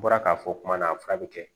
N bɔra k'a fɔ kuma na fura bɛ kɛ